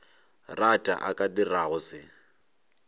rata a ka dirago se